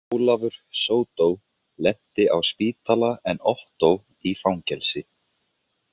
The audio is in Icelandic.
Ólafur sódó lenti á spítala en Ottó í fangelsi.